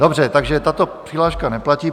Dobře, takže tato přihláška neplatí.